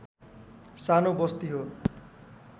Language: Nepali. सानो बस्ती हो